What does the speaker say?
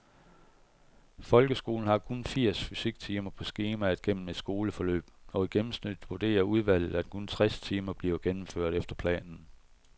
Folkeskolen har kun firs fysiktimer på skemaet gennem et skoleforløb, og i gennemsnit vurderer udvalget, at kun tres timer bliver gennemført efter planen.